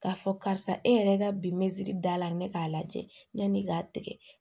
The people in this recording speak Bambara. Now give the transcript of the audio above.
K'a fɔ karisa e yɛrɛ ka bi me da la ne k'a lajɛ yani k'a tigɛ